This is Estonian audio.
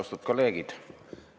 Austatud kolleegid!